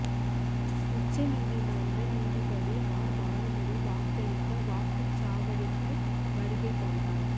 உச்சநீதிமன்ற நீதிபதி ஆர் பானுமதி வாக்களிக்க வாக்க்குச் சாவடிக்கு வருகை தந்தார்